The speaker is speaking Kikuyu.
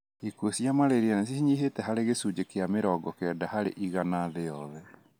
Ikuũ cia malaria nĩ cinyihĩte harĩ gĩcunji kia mĩrongo na kenda harĩ igana thĩ yothe..